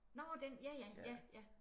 Nårh ja den ja ja ja